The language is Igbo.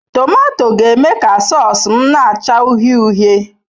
Tomato ga-eme ka sause m na-acha uhie uhie.